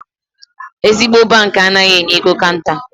Ezigbo bankị anaghị enye ego kanta.